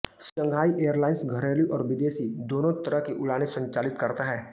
Shanghai airlines घरेलू और विदेशी दोनो तरह की उड़ाने संचालित करता है